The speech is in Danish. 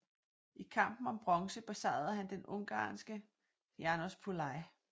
I kampen om bronze besejrede han den ungarske János Pulai